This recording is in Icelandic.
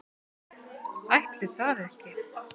Ætli það ekki.